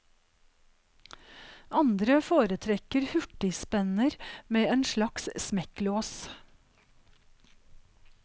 Andre foretrekker hurtigspenner med en slags smekklås.